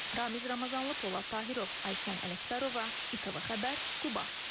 Ramiz Ramazanlı, Polad Tahirov, Aysən Ələkbərova, ATV Xəbər, Quba.